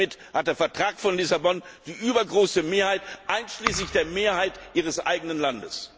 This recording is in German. Damit hat der Vertrag von Lissabon die übergroße Mehrheit, einschließlich der Mehrheit Ihres eigenen Landes.